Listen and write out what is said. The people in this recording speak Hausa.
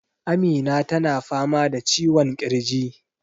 Amina ta na fama da ciwon ƙirji